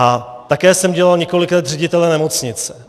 A také jsem dělal několik let ředitele nemocnice.